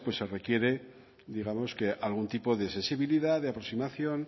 se quiere algún tipo de sensibilidad de aproximación